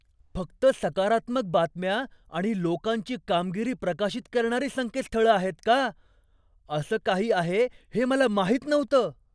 फक्त सकारात्मक बातम्या आणि लोकांची कामगिरी प्रकाशित करणारी संकेतस्थळं आहेत का? असं काही आहे हे मला माहित नव्हतं.